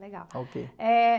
Legal. Eh...